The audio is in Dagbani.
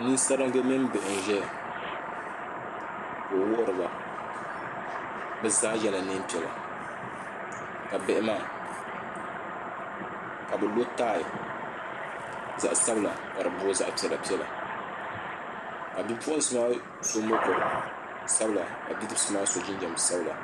nin saringi mini bihi n ʒɛya ka o wuhuriba bi zaa yɛla neen piɛla ka bihi maa ka bi lo tai zaɣ sabila ka di booi zaɣ piɛla piɛla ka bipuɣunsi maa so mokuru sabila ka bidibsi maa so jinjɛm sabila